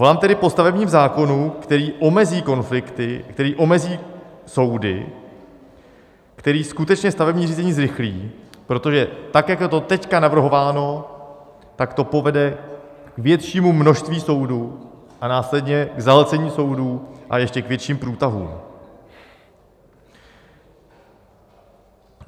Volám tedy po stavebním zákonu, který omezí konflikty, který omezí soudy, který skutečně stavební řízení zrychlí, protože tak jak je to teď navrhováno, tak to povede k většímu množství soudů a následně k zahlcení soudů a ještě k větším průtahům.